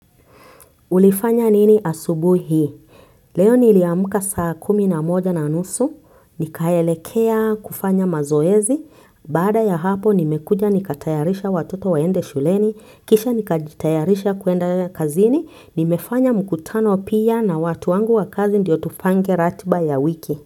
Ulifanya nini asubuhi? Leo niliamka saa kumi na moja na nusu. Nikaelekea kufanya mazoezi. Baada ya hapo nimekuja nikatayarisha watoto waende shuleni. Kisha nikajitayarisha kuenda kazini. Nimefanya mkutano pia na watu wangu wa kazi ndio tupange ratiba ya wiki.